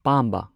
ꯄꯥꯝꯕ